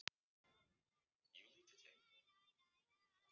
Ég kem of seint í tímann.